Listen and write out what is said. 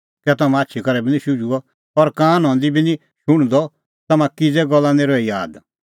कै तम्हां आछी करै बी निं शुझदअ और कान हंदी बी निं शुण्हदअ तम्हां किछ़ै गल्ला निं रही आद